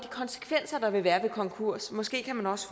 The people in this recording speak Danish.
konsekvenser der vil være ved konkurs måske kan man også